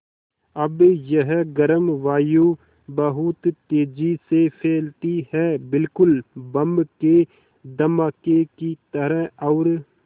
अब यह गर्म वायु बहुत तेज़ी से फैलती है बिल्कुल बम के धमाके की तरह और